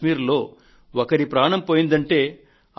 కశ్మీర్లో ఒకరి ప్రాణం పోయిందంటే